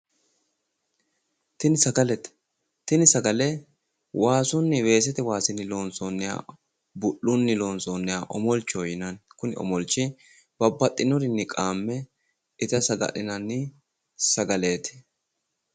Tini sagalete. Tini sagale waasunni weesete waasinni loonsoonniha bu'lunni loonsoonniha omolchoho yinanni kuni omolchi babbaxinorinni qaamme ita saga'linanni sagaleeti.